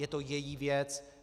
Je to její věc.